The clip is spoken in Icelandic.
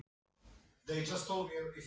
En er ágúst rétti tíminn til þess?